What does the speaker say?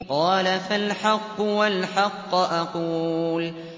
قَالَ فَالْحَقُّ وَالْحَقَّ أَقُولُ